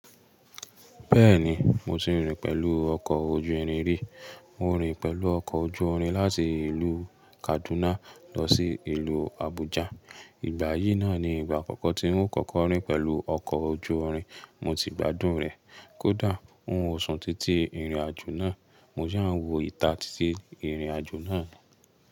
Bẹ́ẹ̀ni, mo ti rìn pẹ̀lú ọkọ̀ ojú irin rí. Mo rìn pẹ̀lú ọkọ̀ ojú irin láti ìlú Kaduna lọ sí ìlú Abuja. Ìgbà yìí náà ni ìgbà àkọ́kọ́ tí o kọ́kọ́ rìn pẹ̀lú ọkọ̀ ojú irin. Mo ti gbádùn rẹ̀. Kódà ń óòṣún títí ìrìnàjò náà, mo yà ń wo ìta títí ìrìnàjò náà.